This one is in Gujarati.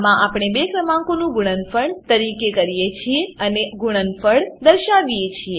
આમાં આપણે બે ક્રમાંકોનું ગુણનફળ ગણતરી કરીએ છીએ અને આ ગુણનફળ દર્શાવીએ છીએ